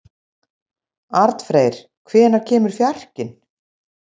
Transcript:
Arnfreyr, hvenær kemur fjarkinn?